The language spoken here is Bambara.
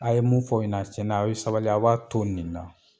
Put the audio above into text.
A ye mun fɔ u ɲana cɛn na a' ye sabali a b'a to nin na.